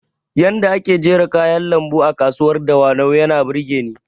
Yanda ake jera kayan lambu a kasuwar dawanau yana burgeni